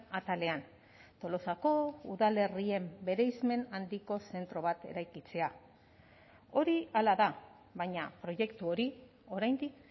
atalean tolosako udalerrien bereizmen handiko zentro bat eraikitzea hori hala da baina proiektu hori oraindik